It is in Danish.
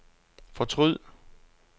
fortryd